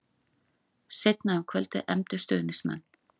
Seinna um kvöldið efndu stuðningsmenn